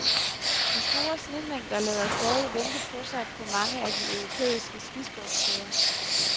De store snemængder lader stadig vente på sig på mange af de europæiske skisportssteder.